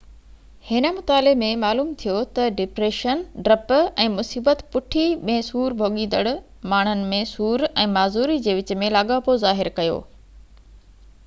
هن مطالعي ۾ معلوم ٿيو تہ ڊپريشن ڊپ ۽ مصيبت پُٺي ۾ سور ڀوڳيندڙ ماڻهڻ ۾ سور ۽ معذوري جي وچ ۾ لاڳاپو ظاهر ڪيو